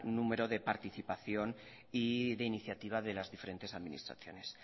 número de participación y de iniciativa de las diferentes administraciones